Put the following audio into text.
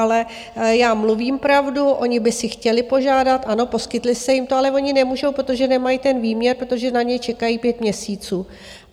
Ale já mluvím pravdu, oni by si chtěli požádat, ano, poskytli jste jim to, ale oni nemůžou, protože nemají ten výměr, protože na něj čekají pět měsíců.